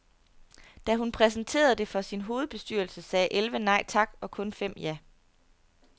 Da hun præsenterede det for sin hovedbestyrelse, sagde elleve nej tak og kun fem ja.